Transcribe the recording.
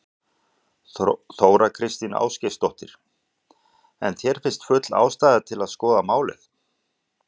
Þóra Kristín Ásgeirsdóttir: En þér finnst full ástæða til að skoða málið?